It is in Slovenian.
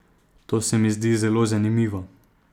To se mi zdi zelo zanimivo.